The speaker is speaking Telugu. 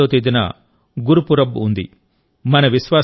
నవంబర్ 8వ తేదీన గురుపురబ్ ఉంది